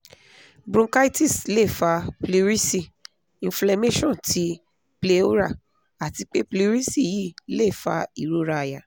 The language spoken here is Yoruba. bronchitis le fa pleurisy inflammation ti pleura ati pe pleurisy yii le fa irora àyà